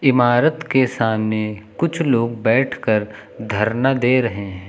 इमारत के सामने कुछ लोग बैठकर धरना दे रहे हैं।